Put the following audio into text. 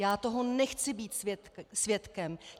Já toho nechci být svědkem.